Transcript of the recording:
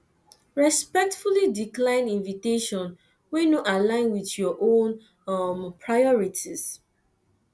respectfully decline invitation wey no align with your own priorities